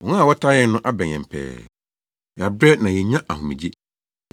Wɔn a wɔtaa yɛn no abɛn yɛn pɛɛ; Yɛabrɛ na yennya ahomegye.